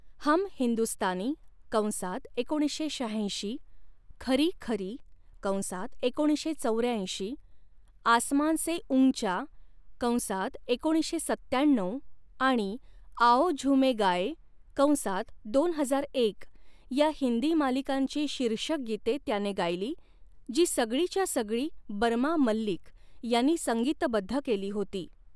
हम हिंदुस्तानी' कंसात एकोणीसशे शहाऐंशी, 'खरी खरी' कंसात एकोणीसशे चौऱ्याऐंशी, 'आसमान से ऊंचा' कंसात एकोणीसशे सत्त्याण्णऊ आणि 'आओ झूमें गाएं' कंसात दोन हजार एक या हिंदी मालिकांची शीर्षक गीते त्याने गायली, जी सगळीच्या सगळी बर्मा मल्लिक यांनी संगीतबद्ध केली होती.